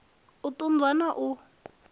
u ṱun ḓwa na u